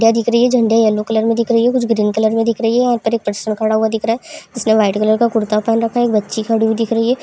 दिख रही है झंडा येलो कलर में दिख रही है कुछ ग्रीन कलर में दिख रही है यहाँ पर एक पर्सन खड़ा हुआ दिख रहा है इसमें वाइट कलर का कुर्ता पहन रखा एक बच्ची खड़ी हुई दिख रही है।